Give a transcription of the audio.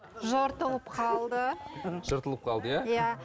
жыртылып қалды жыртылып қалды иә иә